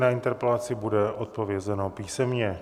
Na interpelaci bude odpovězeno písemně.